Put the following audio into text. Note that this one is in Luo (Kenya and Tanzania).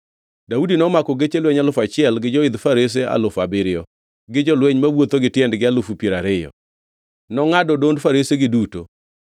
Daudi nomako geche lweny alufu achiel gi joidh farese alufu abiriyo, gi jolweny mawuotho gi tiendgi alufu piero ariyo. Nongʼado odond farese duto.